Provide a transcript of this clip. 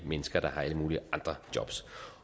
mennesker der har alle mulige andre jobs